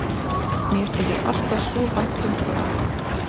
Mér þykir alltaf svo vænt um það lag.